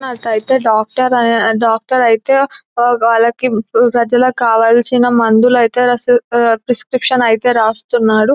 అట్లయితే డాక్టర్ ఐ డాక్టర్ అయితే వాళ్ళకి ప్రజలకి కావాల్సిన మందులైతే రసీదు-ప్రిస్క్రిప్షన్ ఐతే రాస్తునాడు.